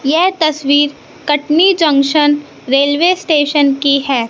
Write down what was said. ये तस्वीर Katni junction railway station की है।